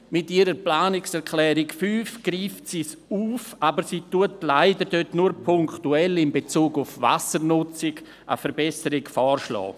Mit ihrer Planungserklärung 5 greift sie es auf, aber sie schlägt leider nur punktuell, in Bezug auf die Wassernutzung, eine Verbesserung vor.